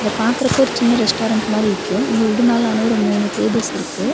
இத பாக்கற்கு ஒரு சின்ன ரெஸ்டாரன்ட் மாரி இருக்கு இது உட்டுனாலான ஒரு மூனு டேபிள்ஸ் இருக்கு.